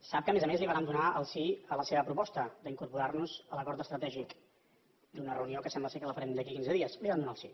sap que a més a més li vàrem donar el sí a la seva proposta d’incorporar nos a l’acord estratègic i a una reunió que sembla que la farem d’aquí a quinze dies li vam donar el sí